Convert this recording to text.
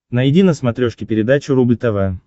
найди на смотрешке передачу рубль тв